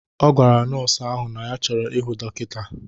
Ọ gwara nọọsụ ahụ na ya chọrọ ịhụ dọkịta.